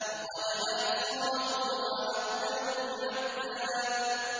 لَّقَدْ أَحْصَاهُمْ وَعَدَّهُمْ عَدًّا